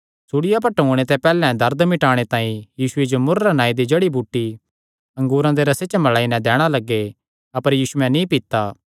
सूल़िया पर टूंगणे ते पैहल्लैं दर्द मिटाणे तांई यीशुये जो मुर्र नांऐ दी जड़ी बूटी अंगूरा दे रसे च मलाई नैं दैणा लग्गे अपर यीशुयैं नीं पीता